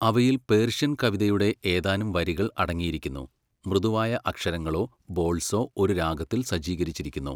അവയിൽ പേർഷ്യൻ കവിതയുടെ ഏതാനും വരികൾ അടങ്ങിയിരിക്കുന്നു, മൃദുവായ അക്ഷരങ്ങളോ ബോൾസോ ഒരു രാഗത്തിൽ സജ്ജീകരിച്ചിരിക്കുന്നു.